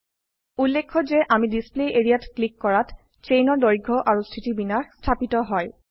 উল্লেখ্য যে আমি ডিছপ্লে এৰিয়া ত ক্লিক কৰাত চেইনৰ দৈৰ্ঘ্য আৰু স্থিতিবিন্যাস স্থাপিত হয়